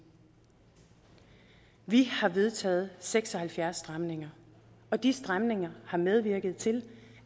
vi har vedtaget seks og halvfjerds stramninger og de stramninger har medvirket til